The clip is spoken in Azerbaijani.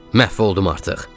Məhv oldum artıq.